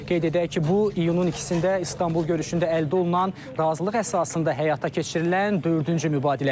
Qeyd edək ki, bu iyunun ikisində İstanbul görüşündə əldə olunan razılıq əsasında həyata keçirilən dördüncü mübadilədir.